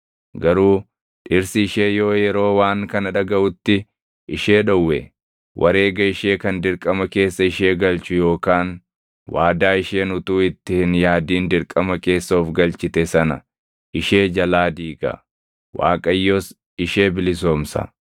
Garuu dhirsi ishee yoo yeroo waan kana dhagaʼutti ishee dhowwe, wareega ishee kan dirqama keessa ishee galchu yookaan waadaa isheen utuu itti hin yaadin dirqama keessa of galchite sana ishee jalaa diiga; Waaqayyos ishee bilisoomsa.